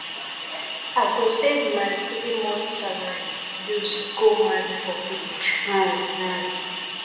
i go save my three months salary use go marry for village um um